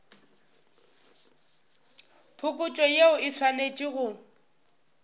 phokotšo yeo e swanetše go